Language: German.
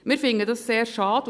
Dies finden wir sehr schade.